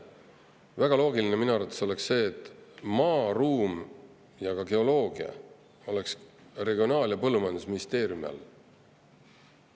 Väga loogiline minu arvates oleks see, et maa, ruum ja geoloogia oleks Regionaal- ja Põllumajandusministeeriumi all.